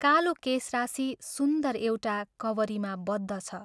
कालो केशराशि सुन्दर एउटा कवरीमा बद्ध छ।